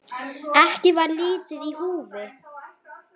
Ekki var lítið í húfi.